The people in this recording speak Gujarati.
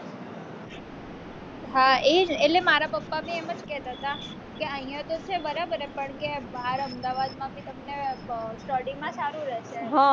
હા એ એટલે માં પપ્પા બી એમ જ કેહતા હતા કે અહીંયા તો છે બરાબર પણ કે બાર અમદવાદમાં બી તમને study માં તમને સારું રહેશે હ